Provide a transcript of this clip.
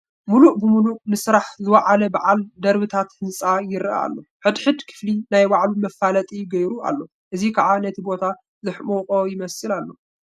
ሙሉእ ብሙሉእ ንስራሕ ዝወዓለ በዓል ደብርታት ህንፃ ይርአ ኣሎ፡፡ ሕድ ሕድ ክፍሊ ናይ ባዕሉ መፋለጢ ገይሩ ኣሎ፡፡ እዚ ከዓ ነቲ ቦታ ዘሕመቖ ይመስል ኣሎ፡፡